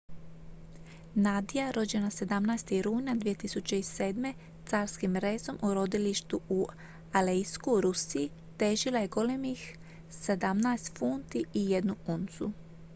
nadia rođena 17. rujna 2007. carskim rezom u rodilištu u aleisku u rusiji težila je golemih 17 funti i 1 uncu